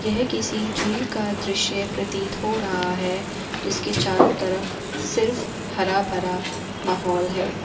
ये किसी झील का दृश्य प्रतीत हो रहा है जिसके चारों तरफ सिर्फ हरा भरा माहौल है।